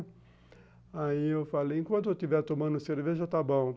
Aí eu falo, enquanto eu estiver tomando cerveja, está bom.